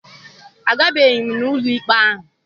Agabeghị m n'ụlọikpe ahụ.